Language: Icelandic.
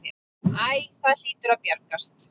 Æ, það hlýtur að bjargast.